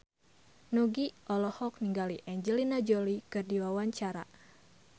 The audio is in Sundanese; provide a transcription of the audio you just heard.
Nugie olohok ningali Angelina Jolie keur diwawancara